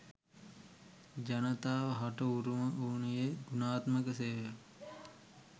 ජනතාව හට උරුම වනුයේ ගුණාත්මක සේවයක්